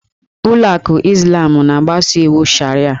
Ụlọ akụ Izlam na-agbaso iwu Sharịa.